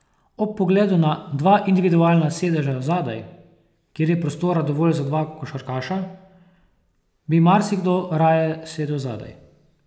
Ob pogledu na dva individualna sedeža zadaj, kjer je prostora dovolj za dva košarkaša, bi marsikdo raje sedel zadaj.